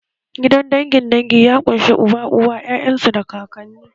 Gidan dangin dangi ya ƙunshi uba, uwa, 'ya'yan su da kakanni